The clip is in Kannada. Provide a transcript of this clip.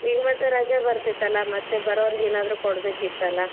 ಈಗ ಮತ್ತ ರಜ ಬತೇ೯ತಲ್ ಮತ್ತ ಬರೋರಗ್ ಏನರ ಕೊಡ್ಬೇಕಿತ್ತಲ್ಲಾ.